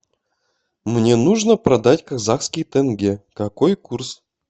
мне нужно продать казахский тенге какой курс